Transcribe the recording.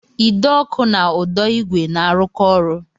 Ide ọkụ na ụdọ igwe na-arụkọ ọrụ